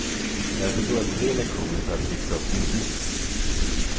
Därför tog jag tre lektioner för att friska upp minnet.